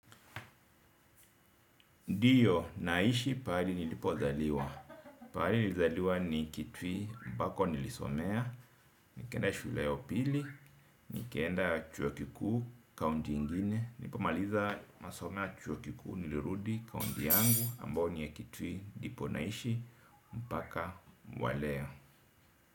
Ndiyo naishi pahali nilipozaliwa. Pahali nilizaliwa ni kitui ambako nilisomea, nikaenda shule ya upili, nikaenda chuo kikuu kaunti ingine, nilipomaliza masomo ya chuo kikuu nilirudi kaunti yangu ambao ni ya kitui ndipo naishi mpaka wa leo.